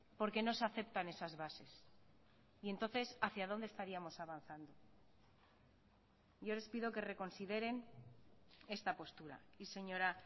porque no se aceptan esas bases y entonces hacia donde estaríamos avanzando yo les pido que reconsideren esta postura y señora